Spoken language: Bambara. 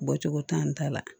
Bɔcogo t'an ta la